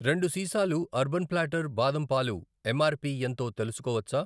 రెండు సీసాలు Urban Platter బాదం పాలు ఎంఆర్పి ఎంతో తెలుసుకోవచ్చా?